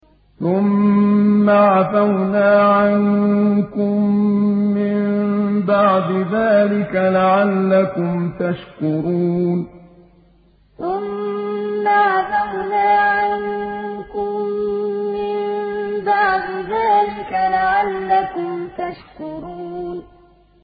ثُمَّ عَفَوْنَا عَنكُم مِّن بَعْدِ ذَٰلِكَ لَعَلَّكُمْ تَشْكُرُونَ ثُمَّ عَفَوْنَا عَنكُم مِّن بَعْدِ ذَٰلِكَ لَعَلَّكُمْ تَشْكُرُونَ